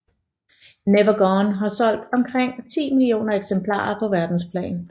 Never Gone har solgt omkring 10 millioner eksemplarer på verdensplan